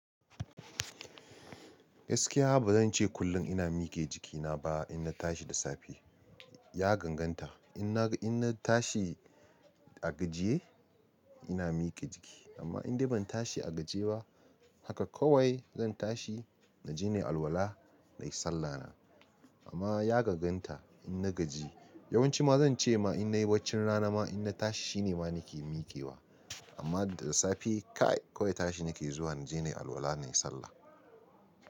Gaskiya ba zan ce kullum ina mike jikina ba in na tashi da safe. Ya ganganta in na, in na tashi a gajiye ina mike jiki, amma in dai ban tashi a gajiye ba, haka kawai zan tashi na je na yi alwala na yi sallah na. Amma ya gaganta in na gaji. Yawanci ma zan ce ma in na yi bacci rana ma in na tashi shi ne ma nake mike wa. Amma da safe kai kawai tashi nake zuwa na je na yi alwala na yi sallah.